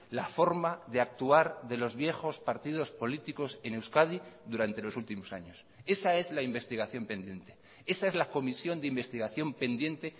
la forma de actuar de los viejos partidos políticos en euskadi durante los últimos años esa es la investigación pendiente esa es la comisión de investigación pendiente